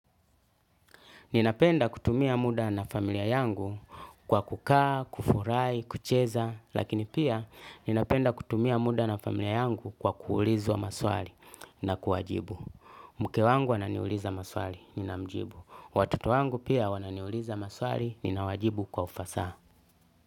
Ninapenda kutumia muda na familia yangu kwa kukaa, kufurahi, kucheza, lakini pia ninapenda kutumia muda na familia yangu kwa kuulizwa maswali na kuwajibu. Mke wangu ananiuliza maswali, nina mjibu. Watoto wangu pia wananiuliza maswali, nina wajibu kwa ufasaha.